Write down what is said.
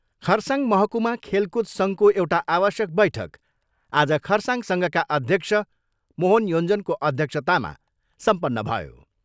खरसाङ महकुमा खेलकूद सङ्घको एउटा आवश्यक बैठक आज खरसाङ सङ्घका अध्यक्ष मोहन योञ्जनको अध्यक्षतामा सम्पन्न भयो।